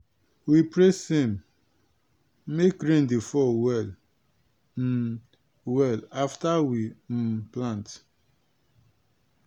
we pray same make rain dey fall well um well after we um plant.